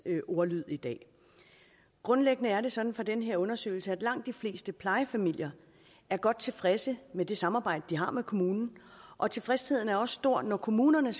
ordlyd i dag grundlæggende er det sådan i den her undersøgelse at langt de fleste plejefamilier er godt tilfredse med det samarbejde de har med kommunen og tilfredsheden er også stor når kommunerne